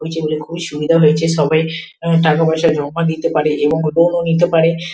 এবং খুবই সুন্দর হয়েছে সবাই টাকা পয়সা জমা দিতে পারে এবং ফোন ও নিতে পারে ।